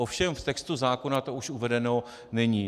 Ovšem v textu zákona to už uvedeno není.